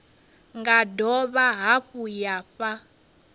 nga dovha hafhu ya fha